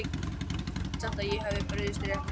Ég held samt að ég hafi brugðist rétt við